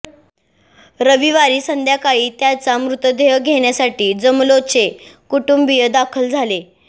रविवारी संध्याकाळी त्याचा मृतदेह घेण्यासाठी जमलोचे कुटुंबीय दाखल झाले